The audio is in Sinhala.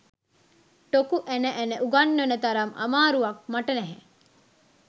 ටොකු ඇන ඇන උගන්වන්න තරම් අමාරුවක් මට නැහැ